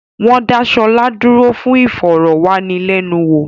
Wọ́n dá Ṣọlá dúró fún ìfọ̀rọ̀ wá ni lẹ́nu wò